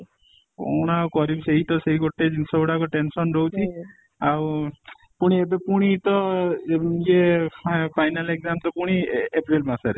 କ'ଣ ଆଉ କରିବି ସେଇ ତ ସେଇ ଗୋଟେ ଜିନିଷ ଗୁଡାକ tension ରହୁଛି ଆଉ ପୁଣି ଏବେ ପୁଣି ତ ଏ ଇଏ ଫା final exam ତ ପୁଣି April ମାସ ରେ